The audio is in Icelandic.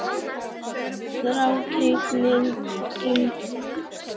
Þrákelknin í málrómnum hafði nú vikið fyrir undrun.